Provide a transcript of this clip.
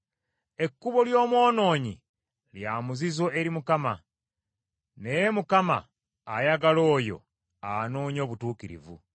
Ekkubo ly’omwonoonyi lya muzizo eri Mukama , naye Mukama ayagala oyo anoonya obutuukirivu.